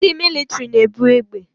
Ndị mịlịtrị na-ebu egbe